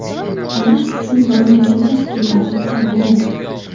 Olish uchun bormagan tashkilotim qolmagan.